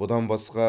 бұдан басқа